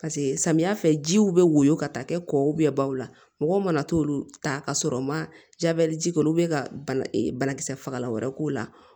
paseke samiya fɛ jiw be woyo ka taa kɛ kɔ baw la mɔgɔw mana t'olu ta ka sɔrɔ u ma jabɛti k'olu be ka bana e bana kisɛ fagalan wɛrɛ k'o la